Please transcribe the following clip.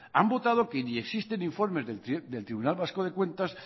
han votado que ni existen informes del tribunal vasco de cuentas